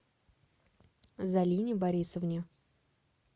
залине борисовне